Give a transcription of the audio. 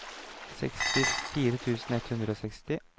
sekstifire tusen ett hundre og seksti